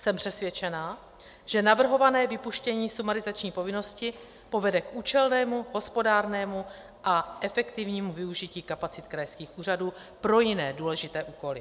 Jsem přesvědčena, že navrhované vypuštění sumarizační povinnosti povede k účelnému, hospodárnému a efektivnímu využití kapacit krajských úřadů pro jiné důležité úkoly.